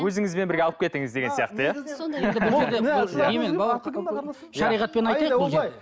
өзіңізбен бірге алып кетіңіз деген сияқты иә